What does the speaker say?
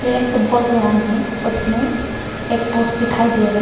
एक football ground है उसमें एक पोस्ट दिखाई दे रहा है।